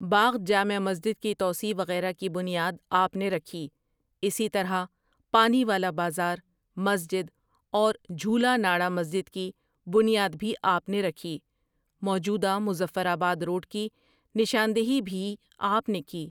باغ جامع مسجد کی توسیع وغیرہ کی بنیاد آپؒ نے رکھی اسی طرح پانیولہ بازار ،مسجد اور جھولاناڑہ مسجد کی بنیاد بھی آپؒ نے رکھی موجودہ مظفرآباد روڈ کی نشاندھی بھی ہی آپؒ نے کی۔